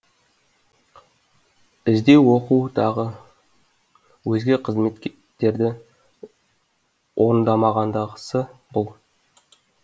іздеу оқу тағы өзге қызметтерді орындамағандағысы бұл